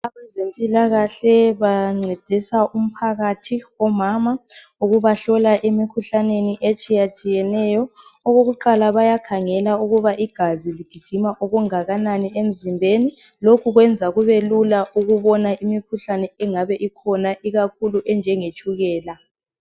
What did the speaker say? Abezempilakahle bancediswe umphakathi omama ukubahlola emikhuhlaneni etshiyetshiyeneyo. Okokuqala bayakhangela ukuba igazi ligijima kanganani emzimbeni lokhu kwenza Kube lula ukubona imikhuhlane engabe ikhona ikakhulu enjengetshukela.